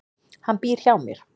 Hann býr hjá mér.